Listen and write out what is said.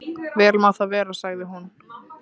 Vel má það vera, sagði hún.